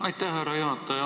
Aitäh, härra juhataja!